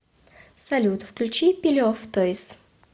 салют включи пиле оф тойз